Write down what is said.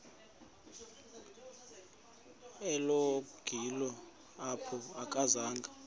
egoli apho akazanga